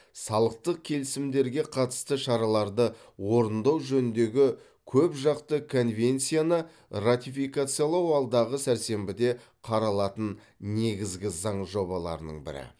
салықтық келісімдерге қатысты шараларды орындау жөніндегі көпжақты конвенцияны ратификациялау алдағы сәрсенбіде қаралатын негізгі заң жобаларының бірі